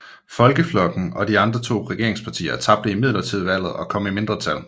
Folkeflokken og de andre to regeringspartier tabte imidlertid valget kom i mindretal